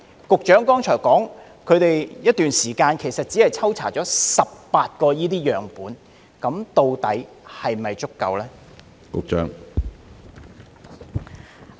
局長剛才說他們在一段時間內只抽查了18個樣本，究竟是否足夠？